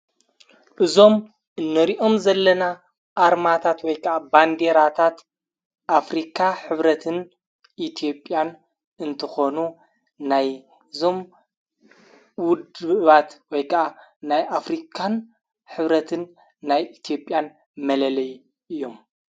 እዞም እነሪኦም ዘለና ኣርማታት ወይቀዓ ባንዲራታት ኣፍሪካ ኅብረትን ኢቲዮብያን እንተኾኑ ናይ እዞም ውድባት ወይቃኣ ናይ ኣፍሪካን ኅብረትን ናይ ኢቲኦብያን መለለይ እዮም::